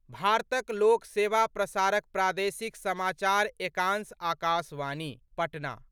भारतक लोक सेवा प्रसारक प्रादेशिक समाचार एकांश आकाशवाणी, पटना